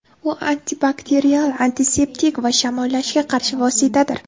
U antibakterial, antiseptik va shamollashga qarshi vositadir.